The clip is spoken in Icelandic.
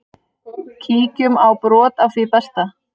Kíkjum á brot af því besta.